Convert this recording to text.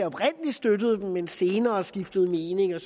oprindelig støttede dem men senere skiftede mening og